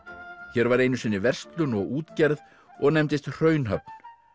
hér var einu sinni verslun og útgerð og nefndist Hraunhöfn